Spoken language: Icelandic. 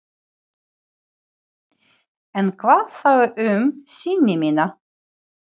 Hilmar, lækkaðu í hátalaranum.